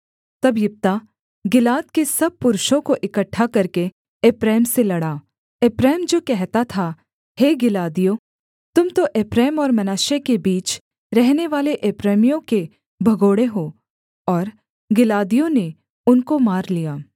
तब यिप्तह गिलाद के सब पुरुषों को इकट्ठा करके एप्रैम से लड़ा एप्रैम जो कहता था हे गिलादियों तुम तो एप्रैम और मनश्शे के बीच रहनेवाले एप्रैमियों के भगोड़े हो और गिलादियों ने उनको मार लिया